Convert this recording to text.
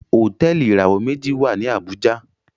Hotẹẹli ìràwọ meji wá ní Abuja.